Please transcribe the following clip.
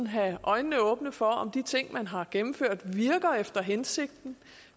have øjnene åbne for om de ting man har gennemført virker efter hensigten